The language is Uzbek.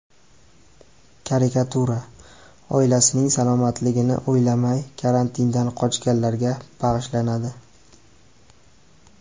Karikatura: Oilasining salomatligini o‘ylamay, karantindan qochganlarga bag‘ishlanadi.